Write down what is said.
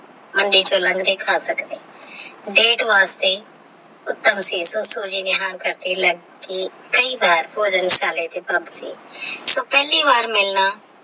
ਮੰਡੀ ਤੋਂ ਲੰਘਦੇ ਖਾ ਸਕਦੇ ਹਾਂ ਡੇਟ ਵਾਸਤੇ ਉਤੱਮ ਅਸੀਸ ਹੋਵੇ ਕੀ ਕਇ ਵਾਰ ਭੋਜਨ ਸੋ ਪਹਿਲੀ ਵਾਰ ਮਿਲਣਾ।